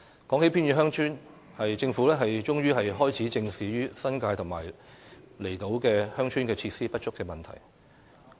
說到偏遠鄉村，政府終於開始正視新界和離島鄉村設施不足的問題。